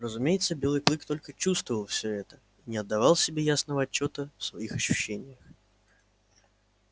разумеется белый клык только чувствовал всё это и не отдавал себе ясного отчёта в своих ощущениях